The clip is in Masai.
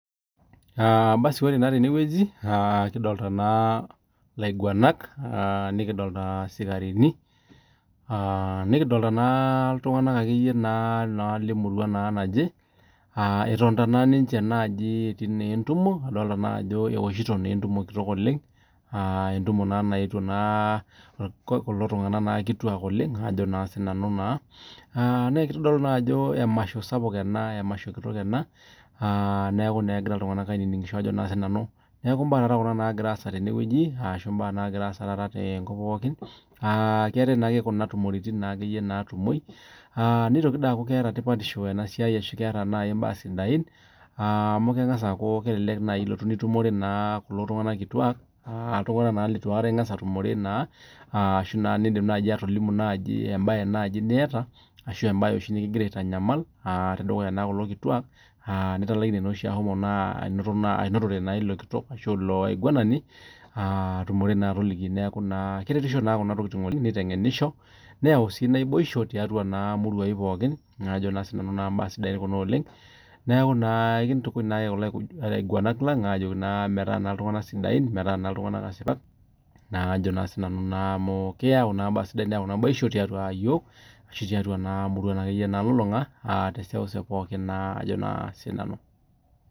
Ore tene wueji nikidolita elaiguanak nikidolita sikarini nikidolita iltung'ana lee murua naaje etonita ninche naaji etii naa entumoo adolita Ajo ewoshito entumote kitok oleng entumote naa nayeuo kulo tung'ana kituak oleng naa kitodolu naa Ajo emasho sapuk ena neeku egira iltung'ana ainining'sha mbaa Kuna nagira asaa tene wueji arashu nagiraa asaa tenkop pookin keetae naa Kuna tumoritin naitumoki nitoki aaku keeta tipatisho enasiai arashu keeta mbaa sidain amu kelelek naaji elotu nitumore kulo tung'ana kituak naa iltung'ana leitu aikata eng'as atumore arashu kidim naaji atolimu mbae naaji nitaa arashu mbae oshi nikigira aitanyamal tedukuya kulo kituak aa nitalaikine naa oshi anotore Leo kitok arashu anato eloo ainguanani aatumore naa elaiguanani aa kitengenisho Kuna tokitin neyau sii naibosho tiatua naa muruan pookin neeku ena kintukuj kulo aiguanak muuj ajoki naa metaa naa iltung'ana sidain meeta iltung'ana asipak naa kajo sinanu naa amu keyau naibosho tiatua iyiok arashu tiatua muruan nalulung'a aa teseuseu nalulung'a Ajo sinanu